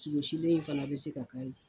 Sogosilen in fana bɛ se ka kari.